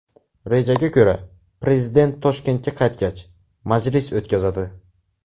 Rejaga ko‘ra, prezident Toshkentga qaytgach, majlis o‘tkazadi.